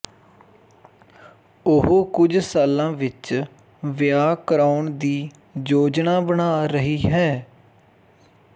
ਉਹ ਕੁਝ ਸਾਲਾਂ ਵਿੱਚ ਵਿਆਹ ਕਰਾਉਣ ਦੀ ਯੋਜਨਾ ਬਣਾ ਰਹੀ ਹੈ